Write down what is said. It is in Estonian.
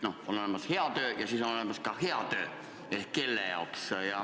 Jah, aga kelle jaoks head tööd?